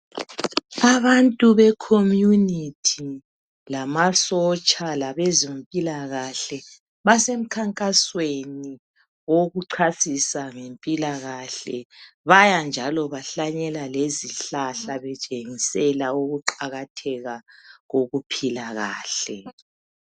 Abantu be community lamasotsha labezempilakahle basemkhankasweni wokuchasisa ngempilakahle. Baya njalo bahlanyela lezihlahla. betshengisela ukuqakatheka kokuphila kahle.